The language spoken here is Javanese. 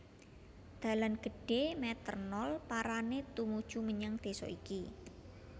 Dalan gedhé Meter nol parané tumuju menyang désa iki